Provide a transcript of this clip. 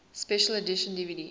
special edition dvd